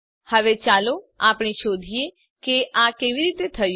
હવે ચાલો આપણે શોધીએ કે આ કેવી રીતે થયું